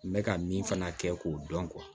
N bɛ ka min fana kɛ k'o dɔn